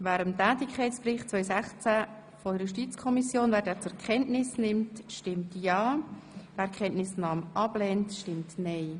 Wer den Tätigkeitsbericht der JuKo 2016 zur Kenntnis nehmen will, stimmt ja, wer dies ablehnt, stimmt nein.